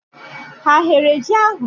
Ha eghere ji ahụ?